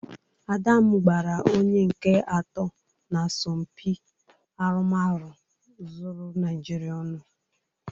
Ada m gbara onye nke atọ n'asọmpị arụmarụ zuru Naịjịrịa ọnụ.